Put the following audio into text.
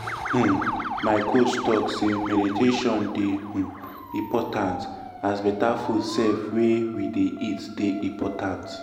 um my coach talk say meditation dey um important as better food sef wey we dey eat dey important.